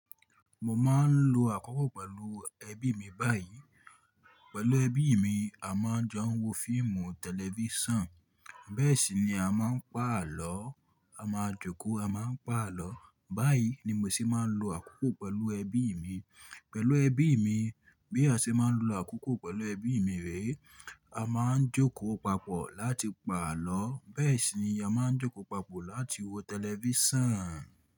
Mo máa ń lo àkókò pẹ̀lú ẹbí mi báyìí. Pẹ̀lú ẹbí mi, a máa jọ ń wo fíìmù tẹlifíṣàn. Bẹ́ẹ̀ sì ni a máa ń pa àlọ́, a máa jókòó, a máa ń pa àlọ́. Báyìí ni mo sì máa ń lo àkókò pẹ̀lú ẹbí mi. Pẹ̀lú ẹbí mi, bí a ṣe máa ń lo àkókò pẹ̀lú ẹbí mi rèé, a máa ń jókòó papọ̀ láti pa àlọ́. Bẹ́ẹ̀ sì ni a máa ń jókòó papọ̀ láti wo tẹlifíṣàn.